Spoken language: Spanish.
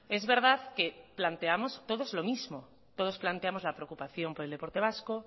es verdad que planteamos todos los mismo todos planteamos la preocupación por el deporte vasco